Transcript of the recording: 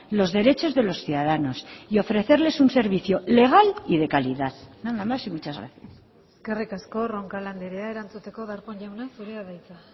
los derechos de los ciudadanos y ofrecerles un servicio legal y de calidad nada más y muchas gracias eskerrik asko roncal andrea erantzuteko darpón jauna zurea da hitza